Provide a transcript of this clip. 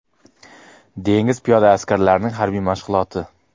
Dengiz piyoda askarlarining harbiy mashg‘uloti.